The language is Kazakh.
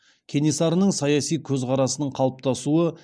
кенесарының саяси көзқарасының қалыптасуы